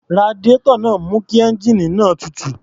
Radiárọ̀ náà ń mú kí ẹ́ńjíìnì náà tutù.